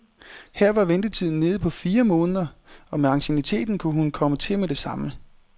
Her var ventetiden nede på fire måneder, og med ancienniteten kunne hun komme til med det samme.